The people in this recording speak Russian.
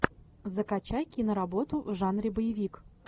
закачай киноработу в жанре боевик